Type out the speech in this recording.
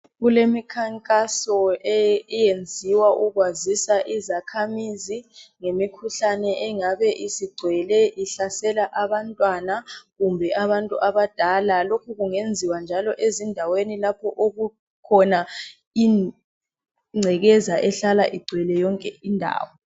Kulemikhankaso eyenziwa ukwazisa izakhamizi ngemikhuhlane engabe isigcwele ihlasela abantwana kumbe abantu abadala. Lokhu kungenziwa njalo ezindaweni lapho okukhona ingcekeza ehlala igcwele yonke indawo.